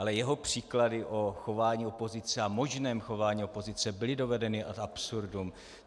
Ale jeho příklady o chování opozice a možném chování opozice byly dovedeny ad absurdum.